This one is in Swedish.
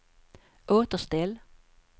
återställ